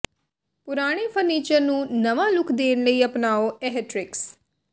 ਪੁਰਾਣੇ ਫਰਨੀਚਰ ਨੂੰ ਨਵਾਂ ਲੁਕ ਦੇਣ ਲਈ ਅਪਣਾਓ ਇਹ ਟਰਿਕਸ